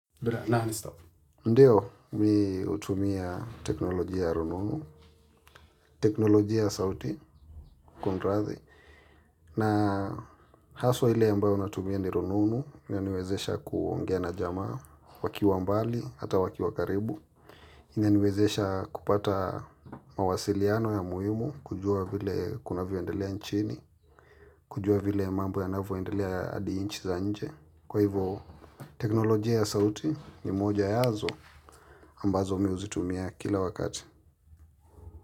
Ndiyo, mimi hutumia teknolojia ya rununu, teknolojia ya sauti, kunrathi, na haswa ile ambayo natumia ni rununu, inaniwezesha kuongea na jamaa wakiwa mbali, hata wakiwa karibu. Inaniwezesha kupata mawasiliano ya muhimu, kujua vile kunavyo endelea nchini, kujua vile mambo yanavyo endelea hadi nchi za nje. Kwa hivo teknolojia ya sauti ni moja yaazo ambazo mimi huzitumia kila wakati.